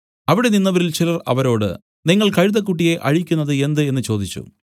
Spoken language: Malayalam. അവിടെ നിന്നവരിൽ ചിലർ അവരോട് നിങ്ങൾ കഴുതക്കുട്ടിയെ അഴിക്കുന്നത് എന്ത് എന്നു ചോദിച്ചു